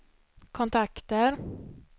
kontakter